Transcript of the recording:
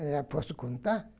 Eu já posso contar?